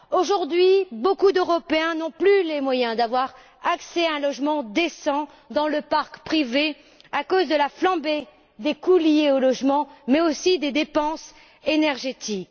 Aujourd'hui, beaucoup d'Européens n'ont plus les moyens d'avoir accès à un logement décent dans le parc privé à cause de la flambée des coûts liés au logement mais aussi des dépenses énergétiques.